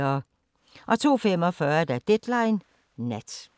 02:45: Deadline Nat